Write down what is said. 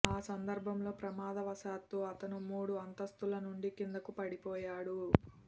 ఆ సందర్బంలో ప్రమాదవశాత్తు అతను మూడు అంతస్తుల నుండి కిందకు పడిపోయాడు